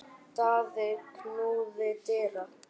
Daði knúði dyra.